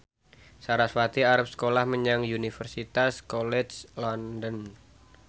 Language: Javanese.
sarasvati arep sekolah menyang Universitas College London